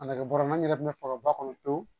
A nɛgɛ bɔrɛ n yɛrɛ kun bɛ faga ba kɔnɔ pewu